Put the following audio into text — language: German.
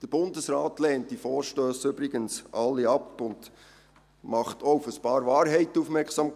Der Bundesrat lehnt diese Vorstösse übrigens alle ab und macht auch auf ein paar Wahrheiten aufmerksam.